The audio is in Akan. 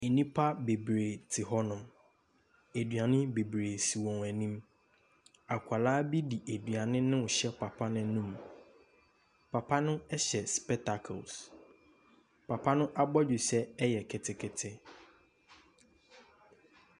Nnipa bebree te hɔ nom. Nnuane bebree si wɔn anim. Akwadaa bi de aduane bi hyɛ papa no anum. Papa no hyɛ spectacles. Papa no abɔdwesɛ ɛyɛ ketekete.